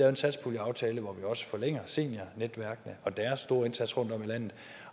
en satspuljeaftale hvor vi også forlænger seniornetværkene og deres store indsats rundtom i landet